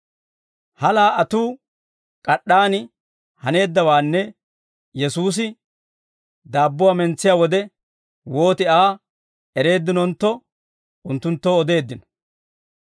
He laa"atuu, k'ad'd'aan haneeddawaanne Yesuusi daabbuwaa mentsiyaa wode wooti Aa ereeddinontto unttunttoo odeeddino.